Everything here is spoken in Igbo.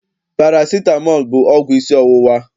Parasitamọl bụ ọgwụ isi ọwụwa.